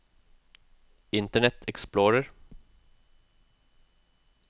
internet explorer